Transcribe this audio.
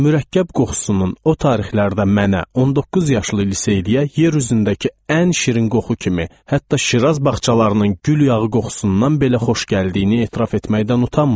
Mürəkkəb qoxusunun o tarixlərdə mənə, 19 yaşlı liseyliyə yer üzündəki ən şirin qoxu kimi, hətta Şiraz bağçalarının gül yağı qoxusundan belə xoş gəldiyini etiraf etməkdən utanmıram.